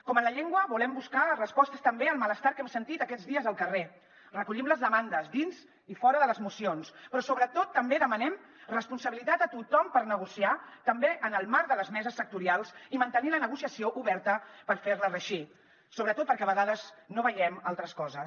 com en la llengua volem buscar respostes també al malestar que hem sentit aquests dies al carrer en recollim les demandes dins i fora de les mocions però sobretot també demanem responsabilitat a tothom per negociar també en el marc de les meses sectorials i mantenir la negociació oberta per fer la reeixir sobretot perquè a vegades no veiem altres coses